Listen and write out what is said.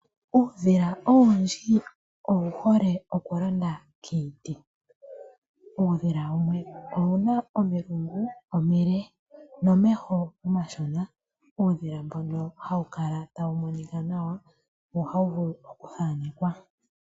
Uudhila owundji owu hole oku londa komiti. Uudhila wumwe owuna omilungu omile nomeho omashona. Uudhila mbono hawu kala tawu monika nawa wo ohawu vulu oku thaanekwa.